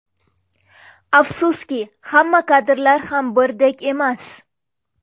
Afsuski, hamma kadrlar ham birdek emas.